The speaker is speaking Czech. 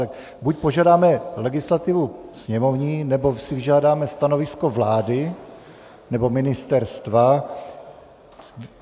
Tak buď požádáme legislativu sněmovní, nebo si vyžádáme stanovisko vlády, nebo ministerstva.